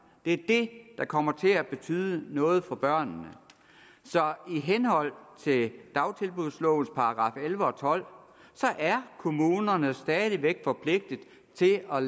det er det der kommer til at betyde noget for børnene i henhold til dagtilbudslovens § elleve og tolv er kommunerne stadig væk forpligtet til at